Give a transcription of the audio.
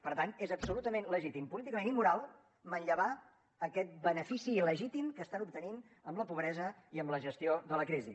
per tant és absolutament legítim políticament i moral manllevar aquest benefici il·legítim que estan obtenint amb la pobresa i amb la gestió de la crisi